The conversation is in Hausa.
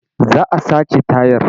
Za a sace tayar.